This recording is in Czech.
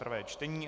prvé čtení